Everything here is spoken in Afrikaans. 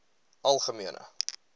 algemene